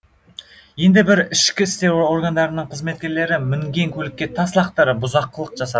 енді бірі ішкі істер органдарының қызметкерлері мінген көлікке тас лақтырып бұзақылық жасады